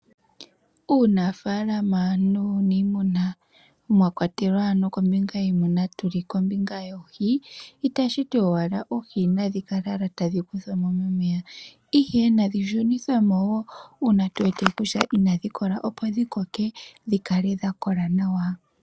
Uunaafalama nuunimuna mwakwatelwa woo ano kombinga yiimuna tuli nokombinga yoohi, itashiti owala oohi nadhi kale owala tadhi kuthwa mo momeya ihe nadhi shunithwemo woo uuna tuwete kutya inadhi kola, opo dhikoke dhi kale dhakola nawa.